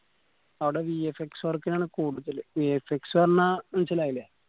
അവടെ vfxwork ഇനാണ് കൂടുതൽ VFX പറഞ്ഞാ മനസ്സിലായില്ലേ